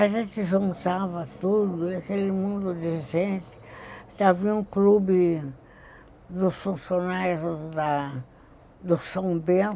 A gente juntava tudo, e aquele mundo de gente... Tinha um clube dos funcionários da do São Bento,